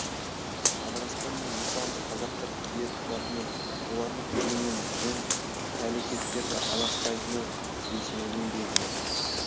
адыраспан мен жусанды қазақтар кие тұтатыны олардың түтінімен жын пәлекеттерді аластайтыны бесенеден белгілі